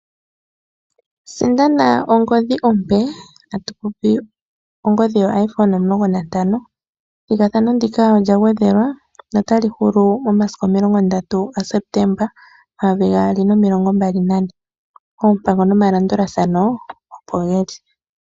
Sindana ongodhi ompe yo iPhone 15, ethigathano ndika olya gwedhelwa notali hulu momasiku 30 Septemba 2024 oompango nomalandulathano opo geli.